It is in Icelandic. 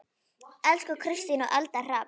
Elsku Kristín og Eldar Hrafn.